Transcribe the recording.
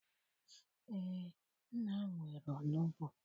Eé, nna m nwere onugbu